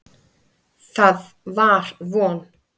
Það var von.